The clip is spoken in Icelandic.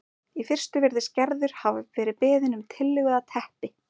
Í fyrstu virðist Gerður hafa verið beðin um tillögu að teppi